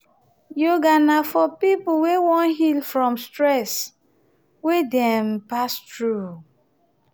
yoga na for pipo um wey won heal from um stress wey dem um pass through